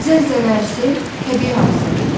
Zəlzələ, sel təbii hadisələrdir.